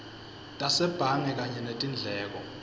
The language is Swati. tasebhange kanye netindleko